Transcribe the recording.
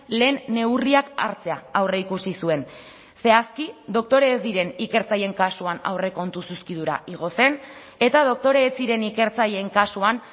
lehen neurriak hartzea aurreikusi zuen zehazki doktore ez diren ikertzaileen kasuan aurrekontu zuzkidura igo zen eta doktore ez ziren ikertzaileen kasuan